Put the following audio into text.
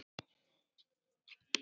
Og líka klippa tré.